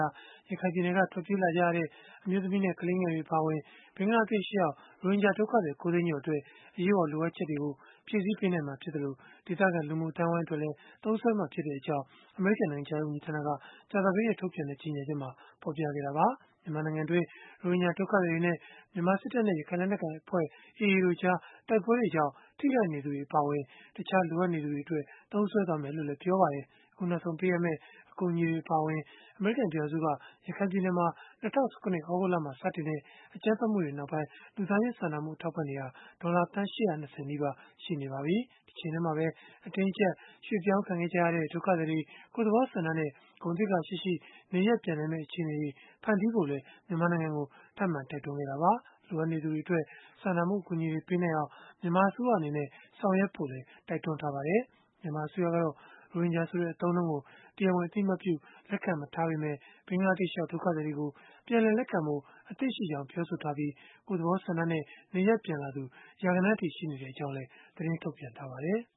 ာ ရခိုင်ပြည်နယ်က ထွက်ပြေးလာကြရတဲ့ အမျိုးသမီးနဲ့ ကလေးငယ်တွေ အပါအဝင် ဘင်္ဂလားဒေ့ရှ်ရောက် ရိုဟင်ဂျာဒုက္ခသည် ၉ သိန်းကျော်အတွက် အရေးပေါ် လိုအပ်ချက်တွေကို ဖြည့်ဆည်းပေးနိုင်မှာ ဖြစ်သလို၊ ဒေသခံ လူမှုအသိုင်းအဝိုင်း အတွက်လည်း သုံးစွဲသွားမှာ ဖြစ်ကြောင်း အမေရိကန် နိုင်ငံခြားရေး ဝန်ကြီးဌာနက ကြာသပတေးနေ့ ထုတ်ပြန်တဲ့ ကြေညာချက်မှာ ဖော်ပြခဲ့တာပါ။ မြန်မာနိုင်ငံတွင်း ရိုဟင်ဂျာဒုက္ခသည်တွေနဲ့ မြန်မာစစ်တပ်နဲ့ ရခိုင်လက်နက်ကိုင်အဖွဲ့ (AA) တို့ကြား တိုက်ပွဲတွေကြောင့် ထိခိုက်နေသူတွေ အပါအဝင် တခြားလိုအပ်နေသူတွေအတွက် သုံးစွဲသွားမယ်လို့လည်း ပြောပါတယ်။ အခုနောက်ဆုံး ပေးအပ်မယ့် အကူအညီအပါအဝင် အမေရိကန် ပြည်ထောင်စုက ရခိုင်ပြည်နယ်မှာ ၂၀၁၇ သြဂုတ်လမှာ စတင်ခဲ့တဲ့ အကြမ်းဖက်မှုတွေနောက်ပိုင်း လူသားချင်းစာနာမှု အထောက်အပံ့တွေဟာ ဒေါ်လာသန်း ၈၂၀ နီးပါး ရှိနေပါပြီ။ တချိန်တည်းမှာပဲ အတင်းအကျပ် ရွှေ့ပြောင်းခဲ့ကြရတဲ့ ဒုက္ခသည်တွေ ကိုယ့်သဘောဆန္ဒနဲ့ ဂုဏ်သိက္ခာရှိရှိ နေရပ်ပြန်နိုင်မယ့် အခြေအနေတွေ ဖန်တီးဖို့လည်း မြန်မာနိုင်ငံကို ထပ်မံတိုက်တွန်းခဲ့တာပါ။ လိုအပ်နေသူတွေအတွက် စာနာမှုအကူအညီတွေ ပေးနိုင်အောင် မြန်မာအစိုးရအနေနဲ့ ဆောင်ရွက်ဖို့လည်း တိုက်တွန်းထားပါတယ်။ မြန်မာအစိုးရကတော့ ရိုဟင်ဂျာဆိုတဲ့ အသုံးအနှုန်းကို တရားဝင် အသိအမှတ်ပြု လက်ခံမထားပေမဲ့ ဘင်္ဂလားဒေ့ရှ်ရောက် ဒုက္ခသည်တွေကို ပြန်လည်လက်ခံဖို့ အသင့်ရှိကြောင်း ပြောဆိုထားပြီး၊ ကိုယ့်သဘောဆန္ဒနဲ့ နေရပ်ပြန်လာသူ ရာဂဏန်းအထိ ရှိနေကြောင်းလည်း သတင်းထုတ်ပြန်ထားပါတယ်။